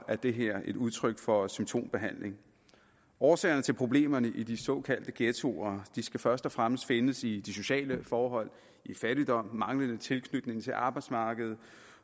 er det her et udtryk for symptombehandling årsagerne til problemerne i de såkaldte ghettoer skal først og fremmest findes i de sociale forhold i fattigdom i manglende tilknytning til arbejdsmarkedet